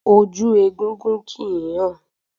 Ojú egúngún kìí hàn